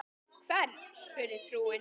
Hvern? spurði frúin.